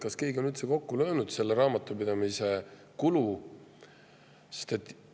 Kas keegi on üldse kokku löönud selle raamatupidamise kulu?